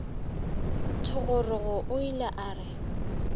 thogorogo o ile a re